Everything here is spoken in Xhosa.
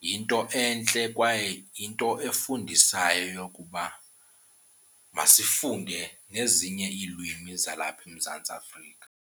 yinto entle kwaye yinto efundisayo yokuba masifunde nezinye iilwimi zalapha eMzantsi Afrika.